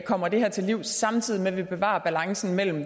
kommer det her til livs samtidig med at vi bevarer balancen mellem